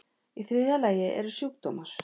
Í þriðja lagi eru sjúkdómar.